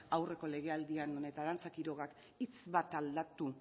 aurreko legealdian arantza quirogak hitz bat aldatu